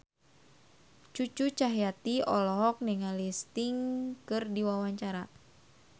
Cucu Cahyati olohok ningali Sting keur diwawancara